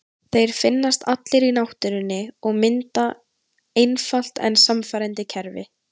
Þeir finnast allir í náttúrunni og mynda einfalt en sannfærandi kerfi.